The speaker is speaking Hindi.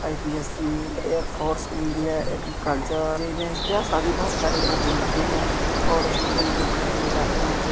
IPSC air force India agriculture सारी बहुत सारी बुक मिलते हैं और स्टूडेंट बुक खरीदने जाते हैं जो--